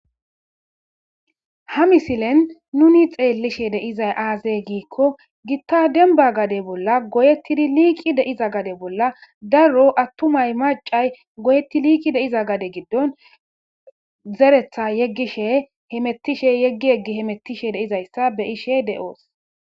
ha misilen nuni xeellishe de'izay aazey giikko gitta denba gade bolla goyettidi liiqi deiza gade bolla darro attumay macay goyetti liiqi de iza gade giddon zeretha yeggishe hemettishe yeggi yeggi hemettishe deizayssa be ishe de7oos